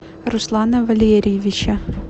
руслана валерьевича